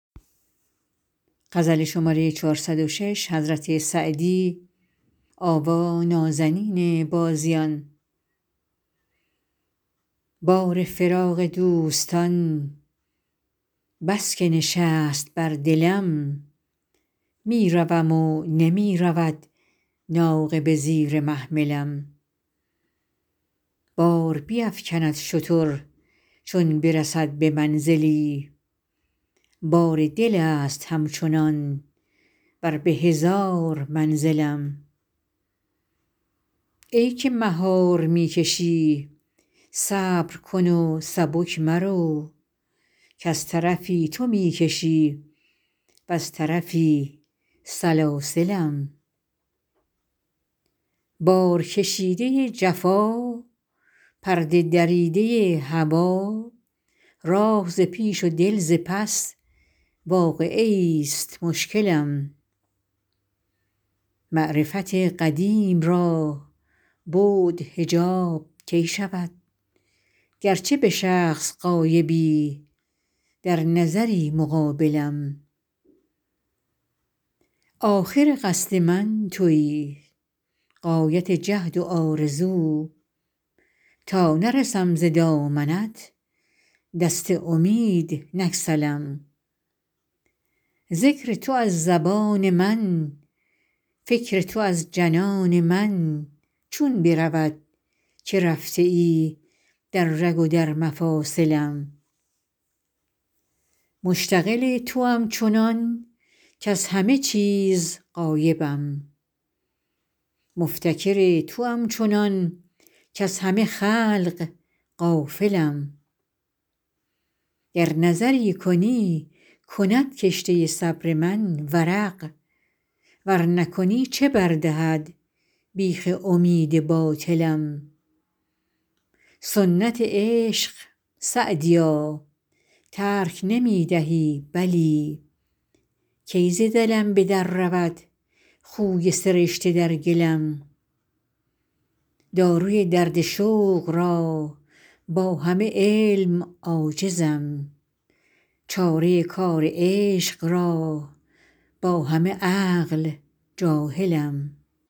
بار فراق دوستان بس که نشست بر دلم می روم و نمی رود ناقه به زیر محملم بار بیفکند شتر چون برسد به منزلی بار دل است همچنان ور به هزار منزلم ای که مهار می کشی صبر کن و سبک مرو کز طرفی تو می کشی وز طرفی سلاسلم بارکشیده ی جفا پرده دریده ی هوا راه ز پیش و دل ز پس واقعه ایست مشکلم معرفت قدیم را بعد حجاب کی شود گرچه به شخص غایبی در نظری مقابلم آخر قصد من تویی غایت جهد و آرزو تا نرسم ز دامنت دست امید نگسلم ذکر تو از زبان من فکر تو از جنان من چون برود که رفته ای در رگ و در مفاصلم مشتغل توام چنان کز همه چیز غایبم مفتکر توام چنان کز همه خلق غافلم گر نظری کنی کند کشته صبر من ورق ور نکنی چه بر دهد بیخ امید باطلم سنت عشق سعدیا ترک نمی دهی بلی کی ز دلم به در رود خوی سرشته در گلم داروی درد شوق را با همه علم عاجزم چاره کار عشق را با همه عقل جاهلم